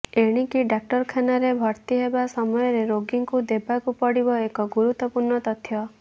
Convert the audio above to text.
ଏଣିକି ଡାକ୍ତରଖାନାରେ ଭର୍ତ୍ତି ହେବା ସମୟରେ ରୋଗୀଙ୍କୁ ଦେବାକୁ ପଡିବ ଏକ ଗୁରୁତ୍ୱପୂର୍ଣ୍ଣ ତଥ୍ୟ